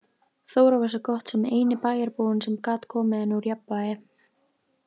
Þóra var svo gott sem eini bæjarbúinn sem gat komið henni úr jafnvægi.